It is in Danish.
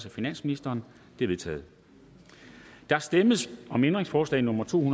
af finansministeren de er vedtaget der stemmes om ændringsforslag nummer to